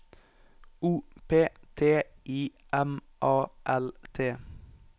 O P T I M A L T